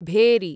भेरी